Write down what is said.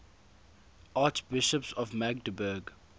archbishops of magdeburg